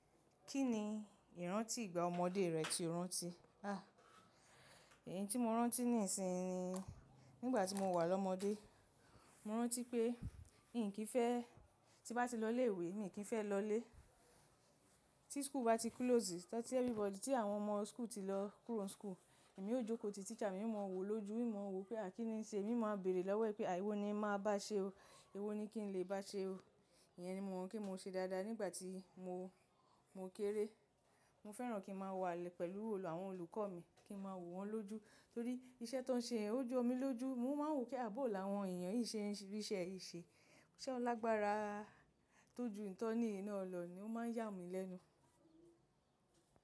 Kí ni ìrántí ìgbà ọmọdé rẹ ti rántí? Ah, èyí tí mo rántí níìsinìnyí ni, nígbà tí mo wà lọ́mọdé, mo rántí pé n kì í fẹ́ tí bá ti lọ ilé ìwé, mi kì í fẹ́ lọ ilé. Tí skúù bá ti klóòsì, tọ́ ti ẹ́fíríbọdì tí àwọn ọmọ skúù ti lọ kúrò ní skúù, èmi ó jókòó ti tíṣà mi hiń máa wò ó lójú, hiń máa wò ó pé à kí ni nṣe, èmi máa bèèrè lọ́wọ́ ẹ́ pé à èwo ni n màá báa ṣe o, èwo ni kí n lè bá ṣe o. Ìyẹn ni mo mọ̀ pé mo ṣe dáadáa nígbà tí mo, mo kéré. Mo fẹ́ràn kí n máa wà pẹ̀lú òòlù àwọn olùkọ́ mi, kí n máa wò wọ́n lójú torí iṣẹ́ tí wọ́n ṣe yẹń ó jó omi lójú. Mo máa ń wò pé à bòo láwọn èèyàn yìí ṣe ń rí iṣẹ́ yìí ṣe. Ṣé wọ́n lágbára tó ju èyí tọ́n ni yìí náà llọ ní ó máa ń yà mí lẹ́nu.